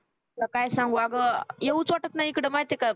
तुला काय सांगू अगं येऊच वाटत नाही इकडं माहित आहे का